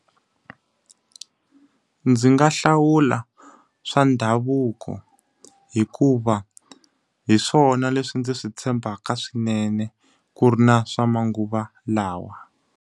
Ndzi nga hlawula swa ndhavuko. Hikuva hi swona leswi ndzi swi tshembaka swinene, ku ri na swa manguva lawa.